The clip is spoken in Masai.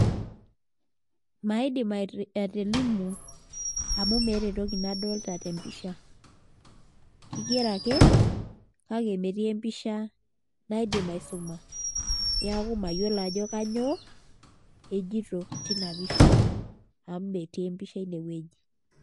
Maidim atolimu amu meeta entoki nadolita tempisha kigero ake kake metii empisha naidim aisuma neeku mayiolo ajo kanyioo ejito tina pisha amu metii empisha inewueji.